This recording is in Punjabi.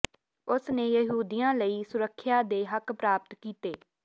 ਉਸ ਨੇ ਯਹੂਦੀਆਂ ਲਈ ਸੁਰੱਖਿਆ ਦੇ ਹੱਕ ਪ੍ਰਾਪਤ ਕੀਤੇ